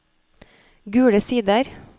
Gule Sider